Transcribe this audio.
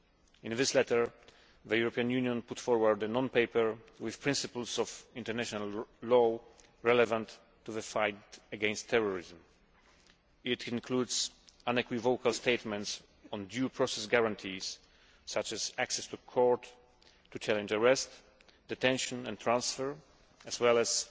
In this letter, the European Union put forward a non paper with principles of international law relevant to the fight against terrorism. It includes unequivocal statements on due process guarantees, such as access to court to challenge arrest, detention and transfer, as well as